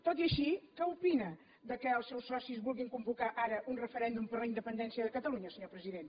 tot i així què opina que els seus socis vulguin convocar ara un referèndum per la independència de catalunya senyor president